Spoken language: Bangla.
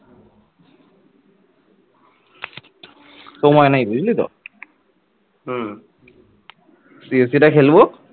দিয়ে সেটা খেলব